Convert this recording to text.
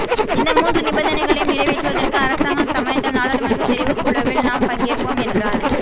இந்த மூன்று நிபந்தனைகளையும் நிறைவேற்றுவதற்கு அரசாங்கம் சம்மதித்தால் நாடாளுமன்ற தெரிவுக்குழுவில் நாம் பங்கேற்போம் என்றார்